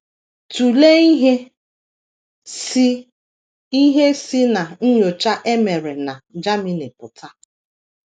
Tụlee ihe si ihe si ná nnyocha e mere na Germany pụta.